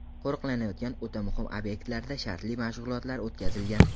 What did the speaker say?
Qo‘riqlanayotgan o‘ta muhim obyektlarda shartli mashg‘ulotlar o‘tkazilgan.